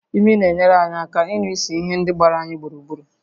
Imi na-enyere anyị aka ịnụ ísì ihe ndị gbara anyị gburugburu